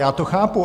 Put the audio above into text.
Já to chápu.